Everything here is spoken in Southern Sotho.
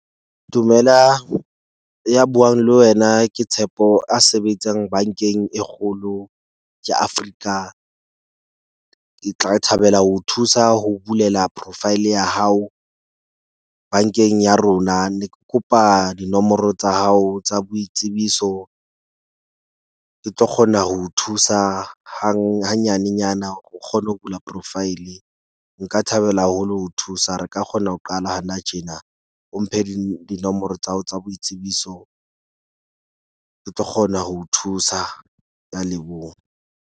Dumelang, ya buang le wena ke Tshepo a sebetsang bank-eng e kgolo ke Africa. Ke tla thabela ho thusa ho bulela profile ya hao bank-eng ya rona. Ne ke kopa dinomoro tsa hao tsa boitsebiso. Ke tlo kgona ho thusa hang ha nyanenyana o kgone ho bula profile. Nka thabela haholo ho thusa. Re ka kgona ho qala hana tjena, o mphe di dinomoro tsa hao tsa boitsebiso. Ke tlo kgona ho thusa. Ke a leboha.